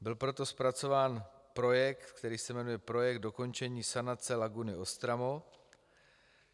Byl proto zpracován projekt, který se jmenuje Projekt dokončení sanace laguny Ostramo.